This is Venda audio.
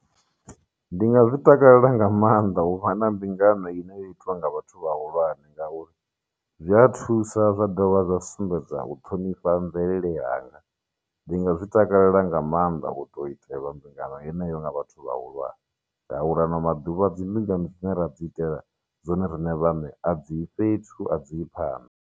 Ndi nga zwi takalela nga maanḓa u vha na mbingano ine ya itiwa nga vhathu vhahulwane ngauri zwi a thusa zwa dovha zwa sumbedza u ṱhonifha mvelele yanga ndi nga zwi takalela nga maanḓa u tou itelwa mbingano yeneyo nga vhathu vhahulwane ngauri ano maduvha dzimbingano dzine ra dzi itela dzone riṋe vhaṋe a dzii fhethu a dzii phanḓa.